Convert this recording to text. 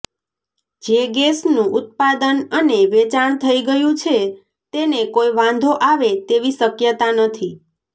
જે ગેસનું ઉત્પાદન અને વેચાણ થઈ ગયું છે તેને કોઈ વાંધો આવે તેવી શક્યતા નથી